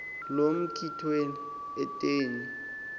loo mikhwelo etyeni